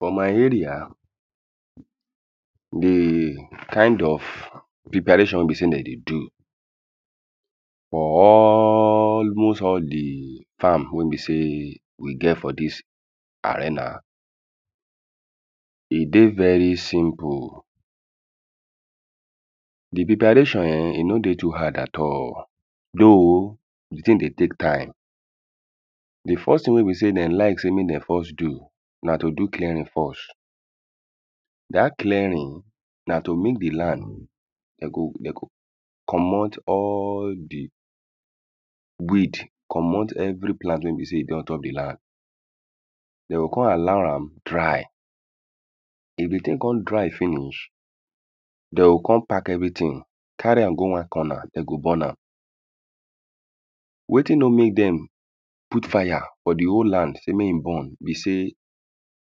[um]for my area the end of the preparation wey be sey dem dey do for almost all the farm own wey be sey we get for dis arena. E dey very simple. The preparation um e no no dey too hard at all. Though, the thing dey take time. The first thing wey be sey de like sey make dem first do na to do clearing first. Dat clearing, na to make the land. De go de go comot all the weed. Comot every plant wey be sey e dey on top the land. Dem go con allow am dry. If the thing con dry finish, de go con pack everything. Carry am go one corner, de go burn am. Wetin no make dem put fire for the whole land sey mey e burn be sey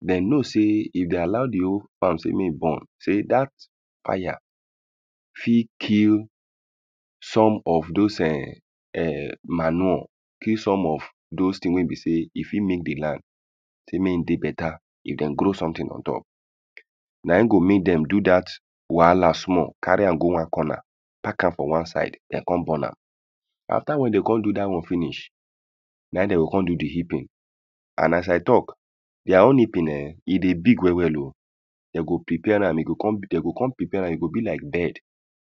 de know sey, if de allow the whole house mey e burn, dat fire fit kill some of dos um um manure. Kill some of dos thing wey be sey e fit make the land sey mey e dey better if de grow something on top Na im go make dem do dat wahala small. Carry am go one corner, pack am for one side. Den con burn am. After when they con do dat one finish. Na im de go con do the heaping. And as i talk, their own heaping um, e dey big well well o. De go prepare am. E go con, de go con prepare am, e go be like bed.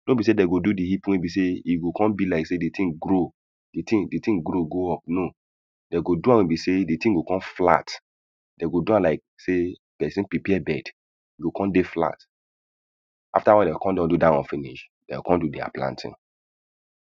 No be sey de go do the heaping wey be sey e go con be like sey the thing grow. The thing the thing grow go up, No. De go do am wey be sey the thing go con flat. Dem go do like sey person prepare bed. E go con dey falt. After when de con don do dat one finish. Dem o con do their planting.